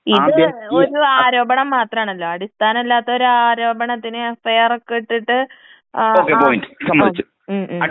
ഇത് ഒരു ആരോപണം മാത്രമാണല്ലോ? അടിസ്ഥാനം ഇല്ലാത്ത ഒരു ആരോപണത്തിന് എഫ്ഐആർ ഒക്കെ ഇട്ടിട്ട് ഏ ആ ആ ഉം ഉം.